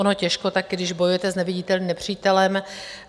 Ono těžko taky, když bojujete s neviditelným nepřítelem.